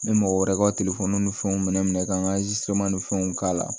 N bɛ mɔgɔ wɛrɛw ka telefɔni ni fɛnw minɛ ka n ka ni fɛnw k'a la